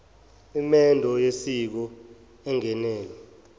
imendo yosiko engenelwe